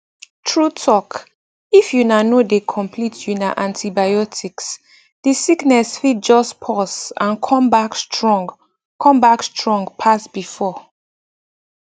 true talkif una no dey complete una antibioticsthe sickness fit just pause and come back strong come back strong pass before